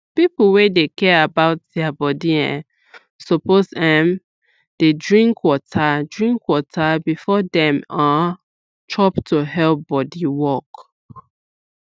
people wey dey care about their body um suppose um dey drink water drink water before dem um chop to help body work